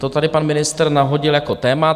To tady pan ministr nadhodil jako téma.